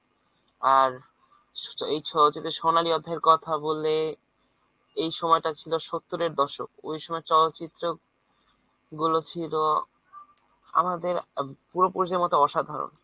আর এই চলচিত্রের সোনালী অধ্যায়ের কথা বললে এই সময়টা ছিল সত্তরের দশক ওই সময় চলচিত্রগুলো ছিল আমাদের পূর্বপুরুষের মত অসাধারণ।